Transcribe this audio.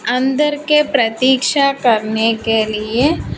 अंदर के प्रतीक्षा करने के लिए--